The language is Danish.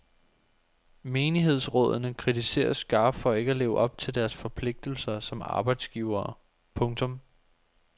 Menighedsrådene kritiseres skarpt for ikke at leve op til deres forpligtelser som arbejdsgivere. punktum